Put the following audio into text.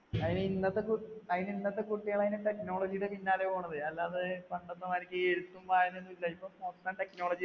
അയിന് ഇന്നത്തെ കു അയിന് ഇന്നത്തെ കുട്ടികൾ അയിന് technology ടെ പിന്നാലെ പോണത്, അല്ലാതെ പണ്ടത്തെമാതിരിക്ക് എഴുത്തും വായനയും ഒന്നും ഇല്ല, ഇപ്പൊ മൊത്തം technology